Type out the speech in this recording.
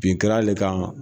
Bin kɛr'ale kan.